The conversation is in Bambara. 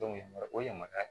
o yamariya